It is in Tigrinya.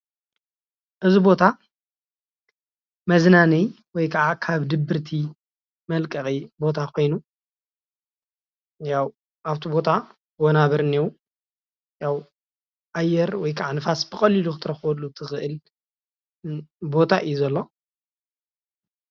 እዚ ቦታ መዝናነዪ ወይ ከዓ ካብ ድብርቲ መልቀቂ ቦታ ኾይኑ ያው ኣፍቲ ቦታ ወናብር እኒሀው ያው ኣየር ወይ ከዓ ብቀሊሉ ክትናፈሰሉ ትኽእል ቦታ እዩ ዘሎ።